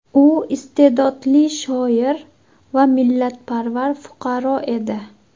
U iste’dodli shoir va millatparvar fuqaro edi.